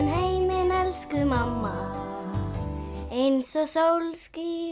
elsku mamma eins og sól skín